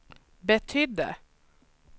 betydde